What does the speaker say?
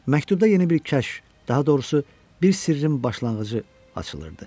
Məktubda yeni bir kəşf, daha doğrusu bir sirrin başlanğıcı açılırdı.